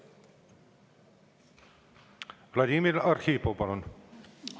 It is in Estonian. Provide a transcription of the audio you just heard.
Vladimir Arhipov, palun!